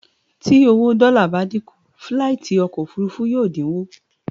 Tí owó dọ́là bá dínkù, fíláìtí ọkọ̀ òfurufú yóò dínwó